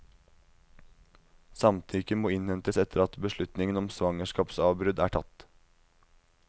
Samtykke må innhentes etter at beslutningen om svangerskapsavbrudd er tatt.